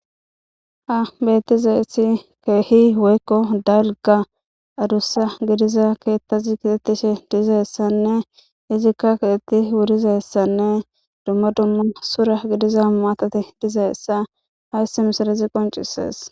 ha bettizayssi ke'ihi woykko dalgga adussa gidiza keettazi betiishshe de'izayssanne izikka kexetti wurizayssanne dumma dumma sura gidiza maatati dizayssa hayssi misilezi qoncisees